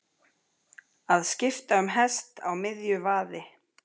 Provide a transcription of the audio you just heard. Að skipta um hest á miðju vaði